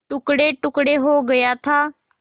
टुकड़ेटुकड़े हो गया था